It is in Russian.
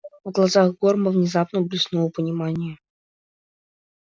в глазах горма внезапно блеснуло понимание